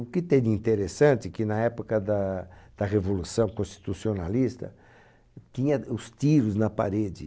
O que tem de interessante é que, na época da da Revolução Constitucionalista, tinha os tiros na parede.